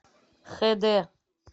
хэ дэ